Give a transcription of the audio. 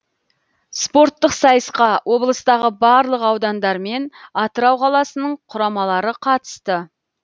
спорттық сайысқа облыстағы барлық аудандар мен атырау қаласының құрамалары қатысты